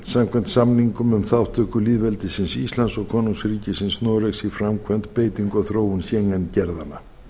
samkvæmt samningnum um þátttöku lýðveldisins íslands og konungsríkisins noregs í framkvæmd beitingu og þróun schengen gerðanna